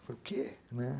Eu falei, o quê? né.